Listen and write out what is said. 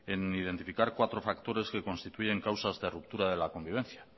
en identificar cuatro factores que constituyen causas de ruptura de la convivencia